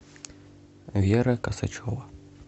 вера касачева